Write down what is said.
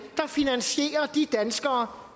der finansierer de danskere